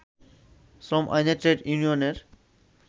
শ্রম আইনে ট্রেড ইউনিয়নের